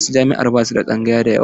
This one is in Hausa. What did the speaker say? Wasu jami'an ba su da tsangaya da yawa.